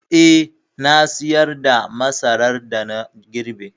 Eh, na sayar da masaran da na girbe.